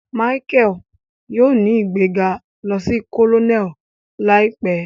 Michael yóò ní igbega lò sí Colonel láìpé